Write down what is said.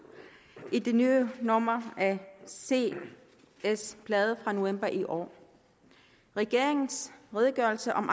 i det nye nummer af cs bladet fra november i år regeringens redegørelse om